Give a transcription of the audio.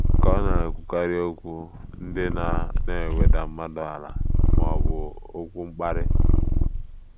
Ka ọ̀ na - ekwukarị okwu ndị na na - eweda mmadụ ala ma ọ bụ okwu mkparị?